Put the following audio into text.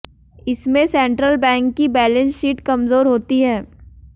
इसमें central bank की balance sheet कमजोर होती है